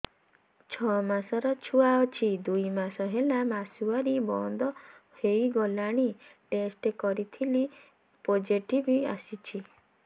ଛଅ ମାସର ଛୁଆ ଅଛି ଦୁଇ ମାସ ହେଲା ମାସୁଆରି ବନ୍ଦ ହେଇଗଲାଣି ଟେଷ୍ଟ କରିଥିଲି ପୋଜିଟିଭ ଆସିଛି